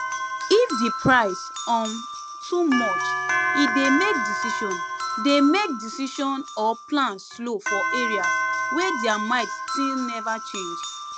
if the price um too much e dey make decision dey make decision or plan slow for areas wey their mind still never change